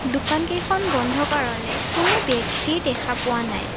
দোকানকেইখন বন্ধ কাৰণে কোনো ব্যক্তি দেখা পোৱা নাই।